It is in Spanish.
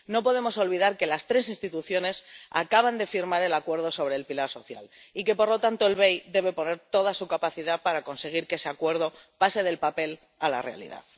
No podemos olvidar que las tres instituciones acaban de firmar el acuerdo sobre el pilar social y que, por lo tanto, el BEI debe poner todo su empeño para conseguir que ese acuerdo pase del papel a la realidad.